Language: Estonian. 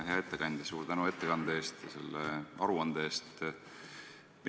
Hea ettekandja, suur tänu ettekande ja selle aruande eest!